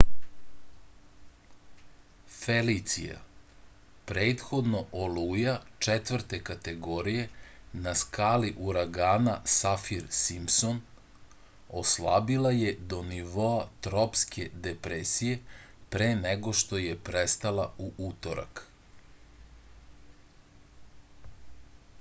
felicija prethodno oluja 4. kategorije na skali uragana safir-simpson oslabila je do nivoa tropske depresije pre nego što je prestala u utorak